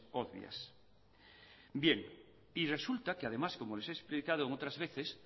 obvias bien y resulta que además como les he explicado otras veces